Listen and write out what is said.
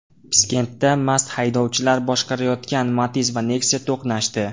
Piskentda mast haydovchilar boshqarayotgan Matiz va Nexia to‘qnashdi.